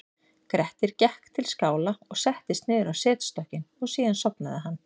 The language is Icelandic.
grettir gekk til skála og settist niður á setstokkinn og síðan sofnaði hann